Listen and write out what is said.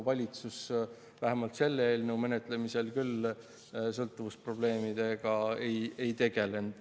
Valitsus vähemalt selle eelnõu menetlemisel küll sõltuvusprobleemidega ei tegelenud.